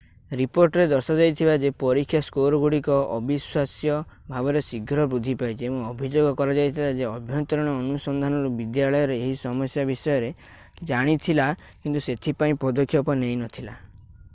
ରିପୋର୍ଟରେ ଦର୍ଶାଯାଇଥିଲା ଯେ ପରୀକ୍ଷା ସ୍କୋରଗୁଡ଼ିକ ଅବିଶ୍ୱାସ୍ୟ ଭାବରେ ଶୀଘ୍ର ବୃଦ୍ଧି ପାଇଛି ଏବଂ ଅଭିଯୋଗ କରାଯାଇଥିଲା ଯେ ଆଭ୍ୟନ୍ତରୀଣ ଅନୁସନ୍ଧାନରୁ ବିଦ୍ୟାଳୟ ଏହି ସମସ୍ୟା ବିଷୟରେ ଜାଣିଥିଲା କିନ୍ତୁ ସେଥିପାଇଁ ପଦକ୍ଷେପ ନେଇନଥିଲା